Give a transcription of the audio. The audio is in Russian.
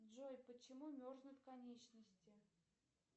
джой почему мерзнут конечности